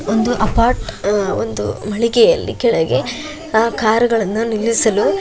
ದುಡ್ಡಿನ ಅವಶ್ಯಕತೆ ಇದ್ದಾಗ ಇಲ್ಲಿ ಹೋಗಿ ಡ್ರಾ ಮಾಡ್ಕೊಳ್ತಾರೆ.